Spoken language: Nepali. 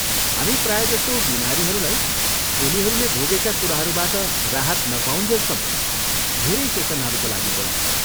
हामी प्रायजसो बिमारीहरूलाई उनीहरूले भोगेका कुराहरूबाट राहत नपाउन्जेलसम्म धेरै सेसनहरूका लागि बोलाउँछौँ।